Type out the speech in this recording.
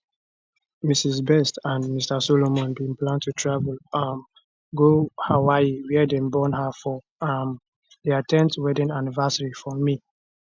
mrs best and mr solomon bin plan to travel um go hawaii wia dem born her for um dia 10th wedding anniversary for may